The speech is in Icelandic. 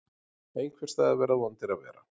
Einhvers staðar verða vondir að vera.